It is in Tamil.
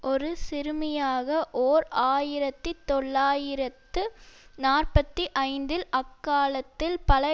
ஒரு சிறுமியாக ஓர் ஆயிரத்தி தொள்ளாயிரத்து நாற்பத்தி ஐந்தில் அக்காலத்தில் பல